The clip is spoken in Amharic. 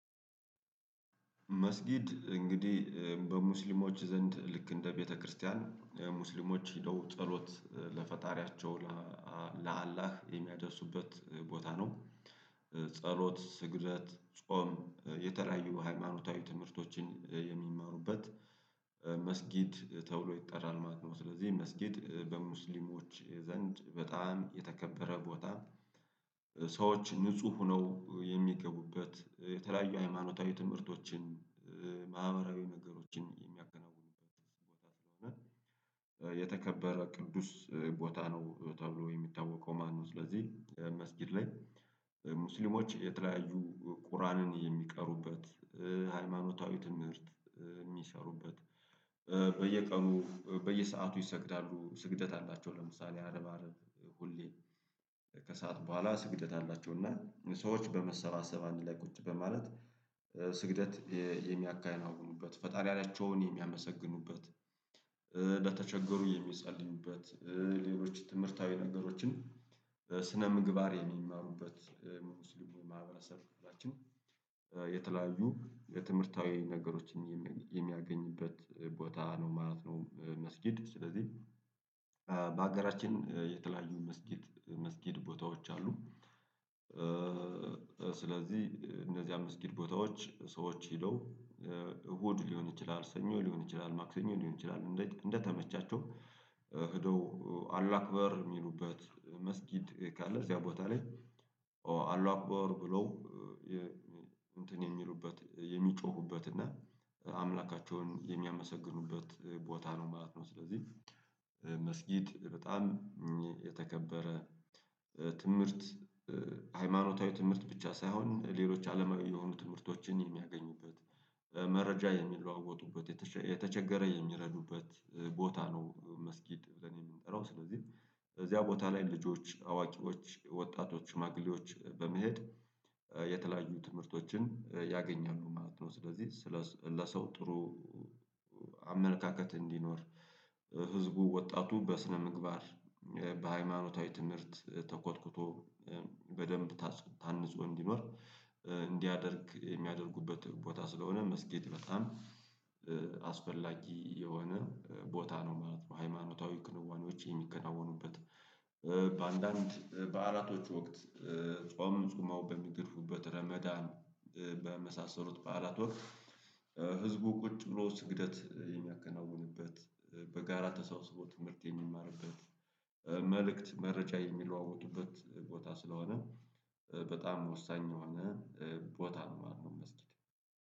መስጊድ እንግዲህ በሙስሊሞች ዘንድ ልክ እንደ ቤተክርስቲያን ሙስሊሞች ሄደው ጸሎት ለፈጣሪያቸው ለአላህ የሚያደርሱበት ቦታ ነው። ጸሎት ስግደት ጾም የተለያዩ ሃይማኖታዊ ትምህርቶችን የሚማሩበት መስጊድ ተብሎ ይጠራል ማለት ነው። ስለዚህ መስጊድ በሙስሊሞች ዘንድ በጣም የተከበረ ቦታ። ሰዎች ንጹህ ሁነው የሚገቡበት የተለያዩ ሃይማኖታዊ ትምህርቶችን ማህበራዊ ነገሮችን የሚያከናውኑበት ቦታ ስለሆነ የተከበረ ቅዱስ ቦታ ነው ተብሎ የሚታወቀው ማለት ነው። ስለዚህ መስጊድ ላይ ሙስሊሞች የተለያዩ ቁርአንን የሚቀሩበት ሃይማኖታዊ ትምህርት የሚሰሩበት። በየቀኑ በየሰአቱ ይሰግዳሉ ስግደት አላቸው ለምሳሌ አረብ አረብ ሁሌ ከሰአት በኋላ ስግደት አላቸው እና ሰዎች በመሰባሰብ አንድ ላይ ቁጭ በማለት ስግደት የሚያከናውኑበት ፈጣሪያቸውን የሚያመሰግኑበት። ለተቸገሩ የሚጸልዩበት ሌሎች ትምህርታዊ ነገሮችን ስነ ምግባር የሚማሩበት ሙስሊሙ ማህበረሰብ በላችን። የተለያዩ የትምህርታዊ ነገሮችን የሚያገኙበት ቦታ ነው ማለት ነው መስጊድ ስለዚህ። በሀገራችን የተለያዩ መስጊድ መስጊድ ቦታዎች አሉ። ስለዚህ እነዚያ መስጊድ ቦታዎች ሰዎች ሄደው እሁድ ሊሆን ይችላል ሰኞ ሊሆን ይችላል ማክሰኞ ሊሆን ይችላል እንደተመቻቸው ሄደው አሏክበር የሚሉበት መስጊድ ካለ እዚያ ቦታ ላይ። አሏክበር ብለው እንትን የሚሉበት የሚጮሁበት እና አምላካቸውን የሚያመሰግኑበት ቦታ ነው ማለት ነው። ስለዚህ መስጊድ በጣም የተከበረ ትምህርት ሃይማኖታዊ ትምህርት ብቻ ሳይሆን ሌሎች አለማዊ የሆኑ ትምህርቶችን የሚያገኙበት መረጃ የሚለዋወጡበት የተቸገረ የሚረዱበት ቦታ ነው መስጊድ ብለን የምንጠራው ስለዚህ። እዚያ ቦታ ላይ ልጆች አዋቂዎች ወጣቶች ሽማግሌዎች በመሄድ የተለያዩ ትምህርቶችን ያገኛሉ ማለት ነው። ስለዚህ ስለ ለሰው ጥሩ አመለካከት እንዲኖር ህዝቡ ወጣቱ በስነምግባር በሃይማኖታዊ ትምህርት ተኮትኩቶ በደንብ ታንጾ እንዲኖር እንዲያደርግ የሚያደርጉበት ቦታ ስለሆነ መስጊድ በጣም አስፈላጊ የሆነ ቦታ ነው ማለት ነው። ሃይማኖታዊ ክንዋኔዎች የሚከናወኑበት። በአንዳንድ ባዓላቶች ወቅት ጾምን ጹመው በሚገድፉበት ረመዳን በመሳሰሉት በዓላት ወቅት ህዝቡ ቁጭ ብሎ ስግደት የሚያከናውንበት በጋራ ተሰብስቦ ትምህርት የሚማርበት መልእክት መረጃ የሚለዋወጡበት ቦታ ስለሆነ። በጣም ወሳኝ የሆነ ቦታ ነው ማለት ነው። መስጊድ